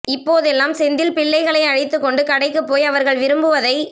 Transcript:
இப்போதெல்லாம் செந்தில் பிள்ளைகளை அழைத்துக் கொண்டு கடைக்குப் போய் அவர்கள் விரும்புவதை